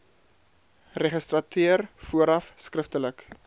registrateur vooraf skriftelik